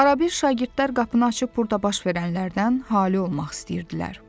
Arabir şagirdlər qapını açıb burda baş verənlərdən halı olmaq istəyirdilər.